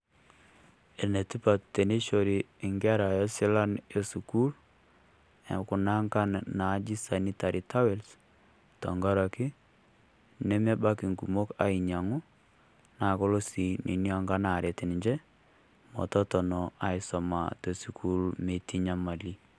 Enetipat teneisho inkera esilan e sukuul, kunaangan naaji sanitary towels tenkarake, nemebaiki inkumok ainyang'u naa kolo sii kunaangan aret ninche, metotono aisoma te sukuul metii nyamali.